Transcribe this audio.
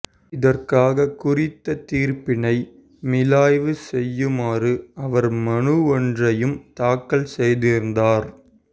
இதற்காக குறித்த தீர்ப்பினை மீளாய்வு செய்யுமாறு அவர் மனு ஒன்றையும் தாக்கல் செய்திருந்தார்